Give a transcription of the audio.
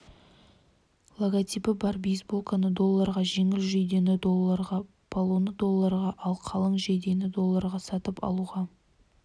логотипі бар бейсболканы долларға жеңіл жейдені долларға полоны долларға ал қалың жейдені долларға сатып алуға